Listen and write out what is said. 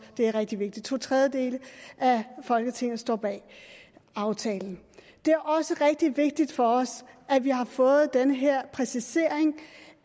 det er rigtig vigtigt to tredjedele af folketinget står bag aftalen det er også rigtig vigtigt for os at vi har fået den her præcisering